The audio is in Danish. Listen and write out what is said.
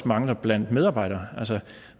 mangler blandt medarbejdere altså